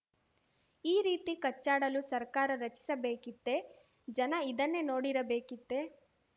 ಈ ರೀತಿ ಕಚ್ಚಾಡಲು ಸರ್ಕಾರ ರಚಿಸಬೇಕಿತ್ತೇ ಜನ ಇದನ್ನೇ ನೋಡಿರಬೇಕಿತ್ತೇ